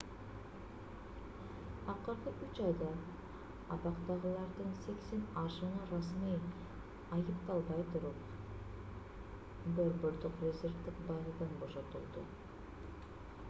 акыркы 3 айда абактагылардын 80 ашууну расмий айыпталбай туруп борбордук резервдик базадан бошотулду